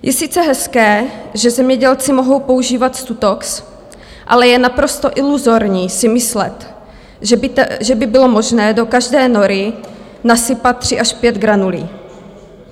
Je sice hezké, že zemědělci mohou používat Stutox, ale je naprosto iluzorní si myslet, že by bylo možné do každé nory nasypat tři až pět granulí.